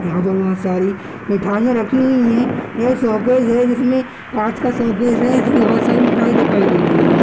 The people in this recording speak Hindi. यहां पर बहुत सारी मिठाइयां रखी हुई है यह सॉकेज है जिसमें कांच का शोकेस है इसमें बहुत सारी मिठाईयां दिखाई दे रही है।